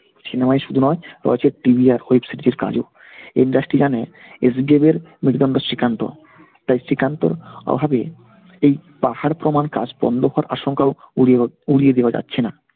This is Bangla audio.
cinema ই শুধু নয়, রয়েছে TV র web series এর কাজও। industry জানে SBF এর শ্রীকান্ত, তাই শ্রীকান্তর অভাবে এই পাহাড়প্রমাণ কাজ বন্ধ কর আশঙ্কাও উড়িয় উড়িয়ে দেওয়া যাচ্ছেনা।